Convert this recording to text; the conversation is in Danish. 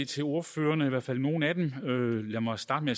til ordførerne i hvert fald nogle af dem lad mig starte med